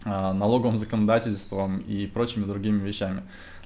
а налоговым законодательством и прочими с другими вещами